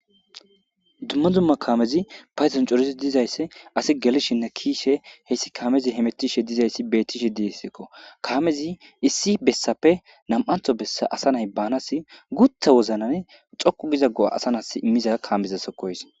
Dumma dumma kaamezi paysan corisi dizaysse asi gelishinne kiishe heyssi kaamezi hemetishe dizayssi bettishe dieseekko kaamezi issi bessappe nam7antho bessa asa nay baanas gutha woznane xoqu gizaggo7a asa nas immiza kaamezasokkoys.